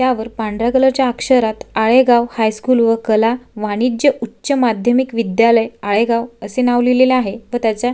यावर पांढऱ्या कलर च्या अक्षरात आळेगाव हाय स्कूल व कला वाणिज्य उच्च माध्यमिक विद्यालय आळेगाव असे नाव लिहलेले आहे व त्याच्या--